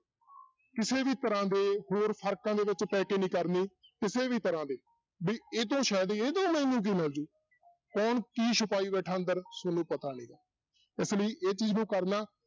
ਕਿਸੇ ਵੀ ਤਰ੍ਹਾਂ ਦੇ ਹੋਰ ਫ਼ਰਕਾਂ ਦੇ ਵਿੱਚ ਪੈ ਕੇ ਨੀ ਕਰਨੀ ਕਿਸੇ ਵੀ ਤਰ੍ਹਾਂ ਦੇ ਵੀ ਇਹ ਤੋਂ ਸ਼ਾਇਦ, ਇਹ ਤੋਂ ਮੈਨੂੰ ਕੀ ਮਿਲ ਜਾਊ, ਕੌਣ ਕੀ ਛੁਪਾਈ ਬੈਠਾ ਅੰਦਰ ਤੁਹਾਨੂੰ ਪਤਾ ਨੀਗਾ, ਇਸ ਲਈ ਇਹ ਚੀਜ਼ ਨੂੰ ਕਰਨਾ